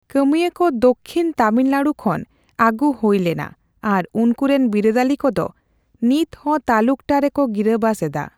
ᱠᱟᱹᱢᱤᱭᱟᱹ ᱠᱚ ᱫᱚᱠᱠᱷᱤᱱ ᱛᱟᱢᱤᱞᱱᱟᱰᱩ ᱠᱷᱚᱱ ᱟᱹᱜᱩ ᱦᱳᱭ ᱞᱮᱱᱟ ᱟᱨ ᱩᱱᱠᱩ ᱨᱮᱱ ᱵᱤᱨᱟᱹᱫᱟᱹᱞᱤ ᱠᱚᱫᱚ ᱱᱤᱛᱦᱚᱸ ᱛᱟᱞᱩᱠᱴᱟ ᱨᱮᱠᱚ ᱜᱤᱨᱟᱹᱵᱟᱥ ᱮᱫᱟ ᱾